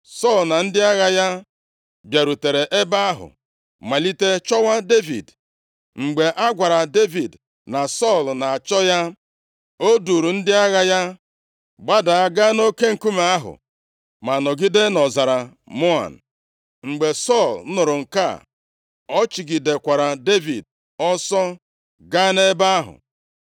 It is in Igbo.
Sọl na ndị agha ya bịarutere ebe ahụ malite chọwa Devid. Mgbe a gwara Devid na Sọl na-achọ ya, o duuru ndị agha ya gbada gaa nʼoke nkume ahụ ma nọgide nʼọzara Maon. Mgbe Sọl nụrụ nke a, ọ chụgidekwara Devid ọsọ gaa nʼebe ahụ.